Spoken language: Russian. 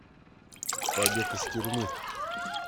побег из тюрьмы